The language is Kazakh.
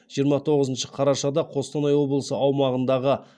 жиырма тоғызыншы қарашада қостанай облысы аумағындағы